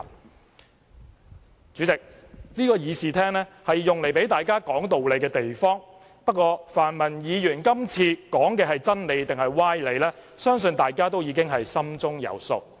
代理主席，這個議事廳是讓大家說道理的地方，不過，泛民議員今次說的是真理還是歪理，相信大家已經心中有數。